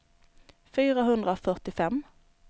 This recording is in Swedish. fyrahundrafyrtiofem